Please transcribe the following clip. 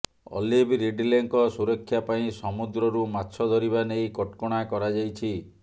olive ରିଡ଼ଲେଙ୍କ ସୁରକ୍ଷା ପାଇଁ ସମୁଦ୍ରରୁ ମାଛ ଧରିବା ନେଇ କଟକଟା କରାଯାଇଛି